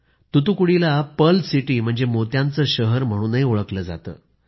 तुतुकुडीला pearl city म्हणजे मोत्यांचं शहर म्हणूनही ओळखलं जातं